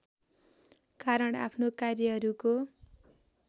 कारण आफ्नो कार्यहरूको